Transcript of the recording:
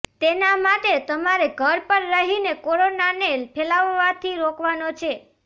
તેના માટે તમારે ઘર પર રહીને કોરોનાને ફેલાવવાથી રોકવાનો છે